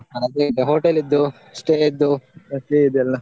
hotel ಇದ್ದು stay ಇದ್ದು ಅದು ಇದು ಎಲ್ಲ.